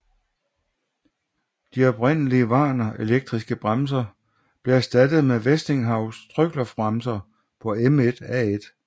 De oprindelige Warner elektriske bremser blev erstattet med Westinghouse trykluftbremser på M1A1